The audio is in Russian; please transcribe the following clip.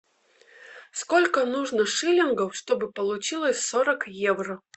сколько нужно шиллингов чтобы получилось сорок евро